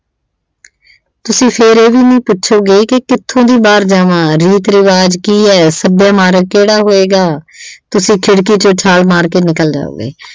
ਤੁਸੀਂ ਫਿਰ ਇਹ ਵੀ ਨਹੀਂ ਪੁੱਛੋਗੇ ਕਿ ਕਿੱਥੋਂ ਦੀ ਬਾਹਰ ਜਾਵਾਂ ਰੀਤ ਰਿਵਾਜ ਕੀ ਆ ਸੱਭਿਆ ਮਾਰਗ ਕਿਹੜਾ ਹੋਏਗਾ ਤੁਸੀਂ ਖਿੜਕੀ ਚੋਂ ਛਾਲ ਮਾਰ ਕੇ ਨਿਕਲ ਜਾਓਗੇ।